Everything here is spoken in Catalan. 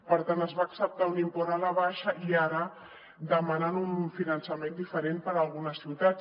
per tant es va acceptar un import a la baixa i ara demanen un finançament diferent per a algunes ciutats